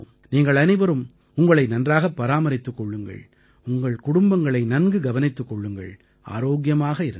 நீங்கள் அனைவரும் உங்களை நன்றாகப் பராமரித்துக் கொள்ளுங்கள் உங்கள் குடும்பங்களை நன்கு கவனித்துக் கொள்ளுங்கள் ஆரோக்கியமாக இருங்கள்